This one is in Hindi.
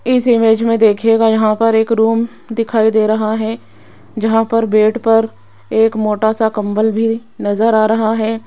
इस इमेज में देखिएगा यहां पर एक रूम दिखाई दे रहा है जहां पर बेड पर एक मोटा सा कंबल भी नजर आ रहा है।